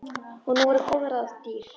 Og nú voru góð ráð dýr.